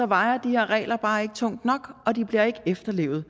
vejer de her regler bare ikke tungt nok og de bliver ikke efterlevet